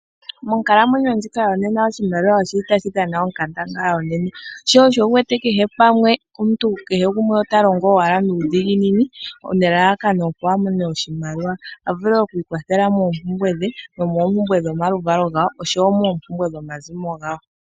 Monkalamwenyo ndjika yonena oshimaliwa oshili tashi dhana onkandangala onene, sho osho wu wete kehe pamwe omuntu kehe gumwe ota longo owala nuudhiginini nelalakano opo a mone oshimaliwa, a vule oku ikwathela moompumbwe dhe, nomoompumbwe dhomaluvalo gawo oshowo moompumbwe dhomazimo gawo.